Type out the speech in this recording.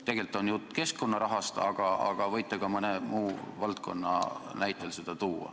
Tegelikult on jutt keskkonnarahast, aga võite ka mõne muu valdkonna näite tuua.